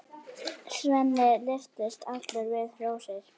Svenni lyftist allur við hrósið.